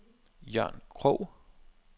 Jørn Krog